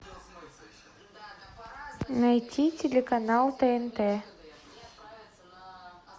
найти телеканал тнт